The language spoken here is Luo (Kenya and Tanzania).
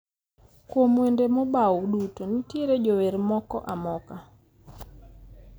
Kuom wende mobaw duto nitiere jower moko amoka